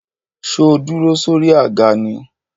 Sọ dúró sórí àga ni?